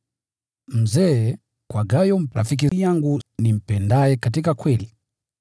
Mzee: Kwa Gayo rafiki yangu, nimpendaye katika kweli.